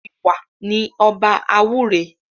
Ìwà ni ọba àwúre